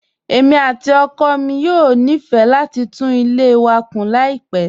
Èmi àti ọkọ mi yóò nífẹ̀ẹ́ láti tún ilé wa kun láìpẹ́.